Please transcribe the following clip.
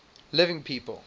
living people